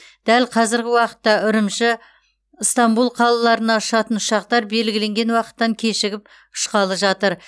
дәл қазіргі уақытта үрімжі ыстанбұл қалаларына ұшатын ұшақтар белгіленген уақыттан кешігіп ұшқалы жатыр